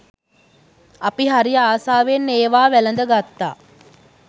අපි හරි ආසාවෙන් ඒවා වැළද ගත්තා.